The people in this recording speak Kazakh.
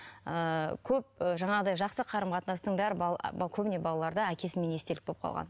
ыыы көп ы жаңағыдай жақсы қарым қатынастың бәрі көбіне балаларда әкесінен естелік болып қалған